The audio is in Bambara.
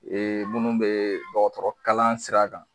Ee minnu bɛ dɔgɔtɔrɔkalan sira kan